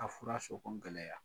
A fura sɔrɔ gɛlɛya